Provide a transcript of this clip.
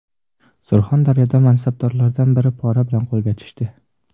Surxondaryoda mansabdorlardan biri pora bilan qo‘lga tushdi.